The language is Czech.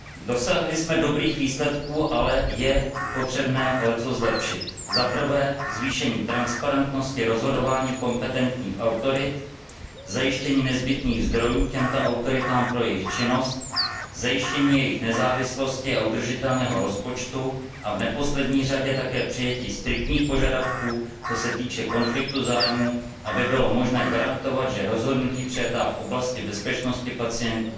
Dosáhli jsme dobrých výsledků, ale je potřebné leccos zlepšit zvýšit transparentnost rozhodování kompetentních autorit, zajistit nezbytné zdroje těmto autoritám pro jejich činnost, zajistit jejich nezávislosti a udržitelný rozpočet a v neposlední řadě také přijmout striktní požadavky, co se týče konfliktu zájmů, aby bylo možné garantovat, že rozhodnutí přijatá v oblasti bezpečnosti pacientů